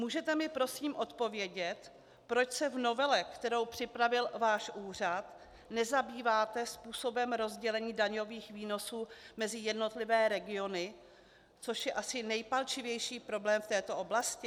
Můžete mi prosím odpovědět, proč se v novele, kterou připravil váš úřad, nezabýváte způsobem rozdělení daňových výnosů mezi jednotlivé regiony, což je asi nejpalčivější problém v této oblasti?